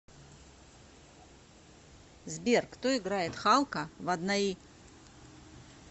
сбер кто играет халка в однои